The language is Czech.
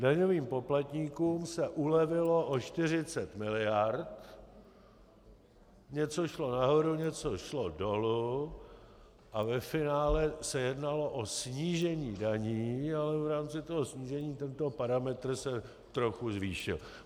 Daňovým poplatníkům se ulevilo o 40 miliard, něco šlo nahoru, něco šlo dolů a ve finále se jednalo o snížení daní, ale v rámci toho snížení tento parametr se trochu zvýšil.